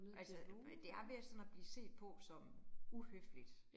Altså det er ved at sådan at blive set på som uhøfligt